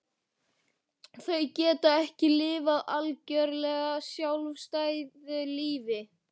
Þau geta ekki lifað algjörlega sjálfstæðu lífi.